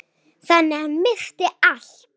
Þannig að ég missti allt.